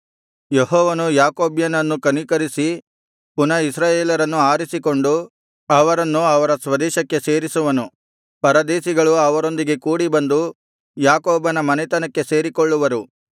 ಯೆಹೋವನು ಯಾಕೋಬ್ಯನನ್ನು ಕನಿಕರಿಸಿ ಪುನಃ ಇಸ್ರಾಯೇಲರನ್ನು ಆರಿಸಿಕೊಂಡು ಅವರನ್ನು ಅವರ ಸ್ವದೇಶಕ್ಕೆ ಸೇರಿಸುವನು ಪರದೇಶಿಗಳು ಅವರೊಂದಿಗೆ ಕೂಡಿ ಬಂದು ಯಾಕೋಬನ ಮನೆತನಕ್ಕೆ ಸೇರಿಕೊಳ್ಳುವರು